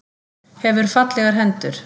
Hefur fallegar hendur.